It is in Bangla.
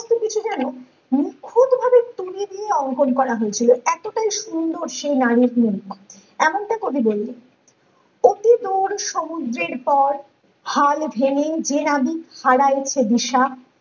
অঙ্কন করা হয়েছিল এতটাই সুন্দর সে বাড়ির এমনটা কবি বললেন তোর সমুদ্রের পর হাল ভেঙে যে নাবিক হারাইছে দিশা